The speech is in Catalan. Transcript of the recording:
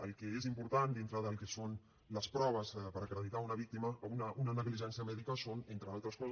el que és important dintre del que són les proves per acreditar una negligència mèdica són entre altres coses